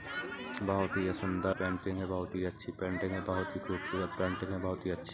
बोहत सुंदर पेटिंग है बोहत अच्छी पेंटिंग है बोहत ही खूबसूरत पेटिंग है बोहत अच्छी-- --